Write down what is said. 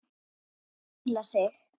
Hvíla sig.